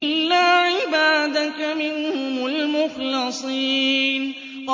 إِلَّا عِبَادَكَ مِنْهُمُ الْمُخْلَصِينَ